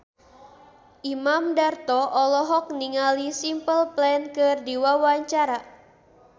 Imam Darto olohok ningali Simple Plan keur diwawancara